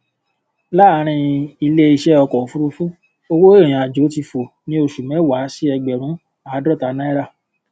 láàárín ilé iṣẹ ọkọ òfurufú owó ìrìnàjò ti fò ní oṣù mẹwàá sí ẹgbẹrún àádọta náírà